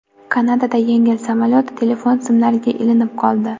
Kanadada yengil samolyot telefon simlariga ilinib qoldi.